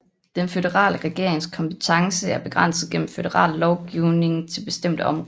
Den føderale regerings kompetence er begrænset gennem føderal lovgivning til bestemte områder